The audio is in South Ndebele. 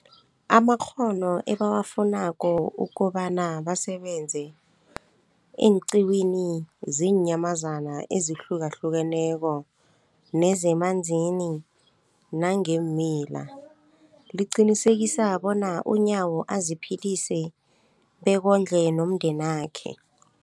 amakghono ebawafunako ukobana basebenze eenqiwini zeenyamazana ezihlukahlukeneko nezemanzini nangeemila, liqinisekisa bona uNyawo aziphilise bekondle nomndenakhe.